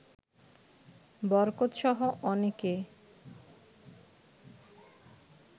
বরকতসহ অনেকে